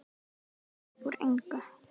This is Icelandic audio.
Uppúr engu?